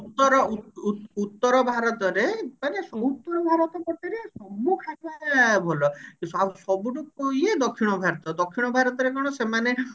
ଉତ୍ତର ଉତ୍ତର ଭାରତରେ ମାନେ ଉତ୍ତର ଭାରତ ପଟରେ ସବୁ ଖାଇବା ଭଲ ସ ସବୁଠୁ ଏଇ ଦକ୍ଷିଣ ଭାରତ ଦକ୍ଷିଣ ଭାରତରେ କଣ ସେମାନେ